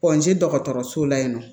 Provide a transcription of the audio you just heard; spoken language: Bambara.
dɔgɔtɔrɔso la yen nɔ